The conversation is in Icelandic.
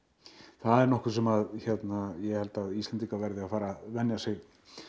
það er nokkuð sem ég held að Íslendingar verði að fara að venja sig